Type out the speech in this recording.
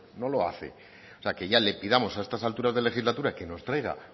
no lo hace o sea que ya le pidamos a estas alturas de la legislatura que nos traiga